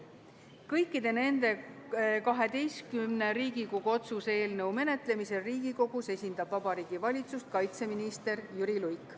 Kõikide nende 12 Riigikogu otsuse eelnõu menetlemisel Riigikogus esindab Vabariigi Valitsust kaitseminister Jüri Luik.